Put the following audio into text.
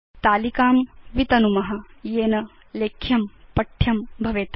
तालिकां वितनुम येन लेख्यं पठ्यं भवेत्